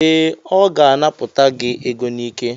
Ee, ọ ga-anapụta gị ego n'ike.